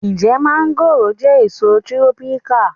Ǹjẹ́ mọ́ngòròjẹ́ èso tírọ́píkà